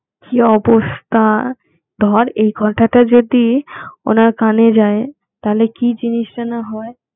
কি অবস্থা ধর এই কথাটা যদি ওনার কানে যায় তাহলে কি জিনিসটা না হয়